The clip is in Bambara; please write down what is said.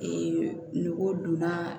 nugu donna